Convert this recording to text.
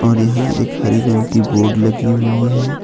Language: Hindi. और यहां एक हरी रंग की बोर्ड लगी हुई है।